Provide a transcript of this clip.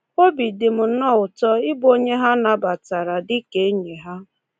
Obi dị m nnọọ ụtọ ịbụ onye ha nabatara dị ka enyi ha.”